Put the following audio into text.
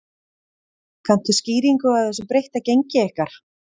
Kanntu skýringu á þessu breytta gengi ykkar?